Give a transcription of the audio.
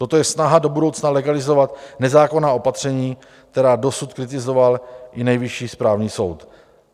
Toto je snaha do budoucna legalizovat nezákonná opatření, která dosud kritizoval i Nejvyšší správní soud.